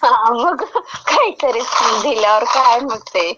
हां मग, काहीतरीच दिल्यावर काय होतंय...